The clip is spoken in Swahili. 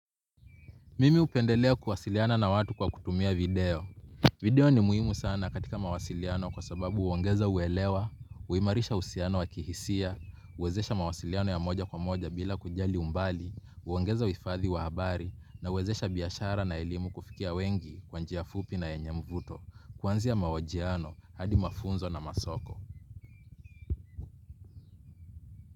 Mimi hupendelea kuwasiliana na watu kwa kutumia video. Video ni muhimu sana katika mawasiliano kwa sababu huongeza uwelewa, huimarisha uhusiano wa kihisia, huwezesha mawasiliano ya moja kwa moja bila kujali umbali, huongeza uhifadhi wa habari, na huwezesha biashara na elimu kufikia wengi kwa njia fupi na yenye mvuto, kuanzia mahojiano hadi mafunzo na masoko.